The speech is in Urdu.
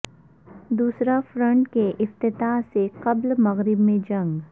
دوسرا فرنٹ کے افتتاح سے قبل مغرب میں جنگ